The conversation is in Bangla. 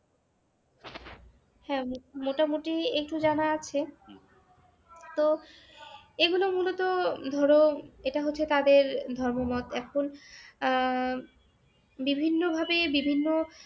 হ্যাঁ মোটামোটি একটু জানা আছে। তো এগুলো মূলত ধরো এটা হচ্ছে তাদের ধর্মমত এখন আহ বিভিন্নভাবে বিভিন্ন